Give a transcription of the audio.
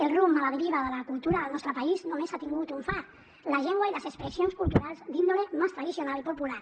el rumb a la deriva de la cultura del nostre país només ha tingut un far la llengua i les expressions culturals d’índole més tradicional i popular